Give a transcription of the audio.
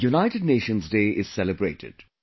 'United Nations Day' is celebrated